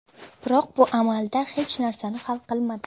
Biroq bu amalda hech narsani hal qilmadi.